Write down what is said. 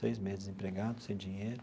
Seis meses desempregado, sem dinheiro.